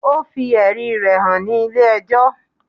Ó fi ẹ̀rí rẹ̀ hàn ní ilé ẹjọ́.